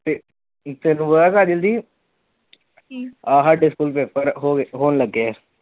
ਤੇ, ਤੈਨੂੰ ਪਤਾ ਕਾਜਲ ਦੀ, ਕਿ? ਆਹ ਪੇਪਰ ਹੋਣ ਲੱਗੇ ਆ।